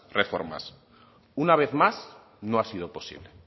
reformas una vez más no ha sido posible